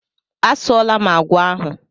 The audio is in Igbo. A sụọla m àgwà ahụ.